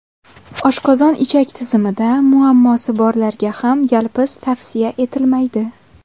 Oshqozon-ichak tizimida muammosi borlarga ham yalpiz tavsiya etilmaydi.